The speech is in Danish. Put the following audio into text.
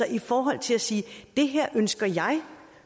i forhold til at sige det her ønsker jeg